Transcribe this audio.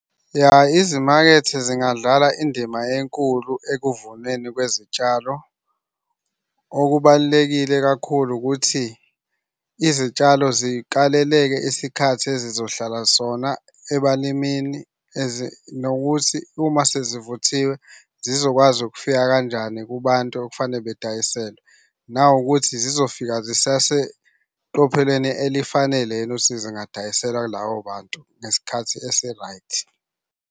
Ya izimakethe zingadlala indima enkulu ekuvuneni kwezitshalo. Okubalulekile kakhulu ukuthi izitshalo zikali lelike isikhathi ezizohlala sona ebalimini and nokuthi right, uma sezivunile zizokwazi ukufika kanjani kubantu okufanele bedayiselwe. Nawukuthi zizofika zisaseqophelweni elifanele yini ukuthi zingadayiselwa kulabo bantu ngesikhathi esi-right.